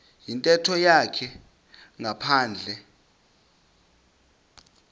yintetho yakhe ngaphandle